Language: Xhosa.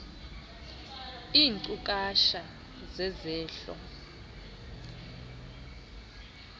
iinkcu kacha zezehlo